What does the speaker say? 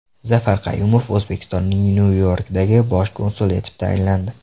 Zafar Qayumov O‘zbekistonning Nyu-Yorkdagi Bosh konsuli etib tayinlandi.